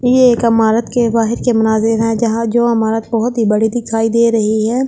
ये एक अमारत के बाहर के मनाजीर हैं जहां जो अमारत बहोत ही बड़ी दिखाई दे रही है।